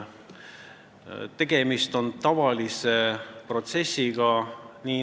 Tegemist on tavalise protsessiga.